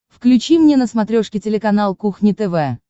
включи мне на смотрешке телеканал кухня тв